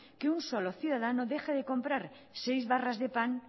que un solo ciudadano deje de comprar seis barras de pan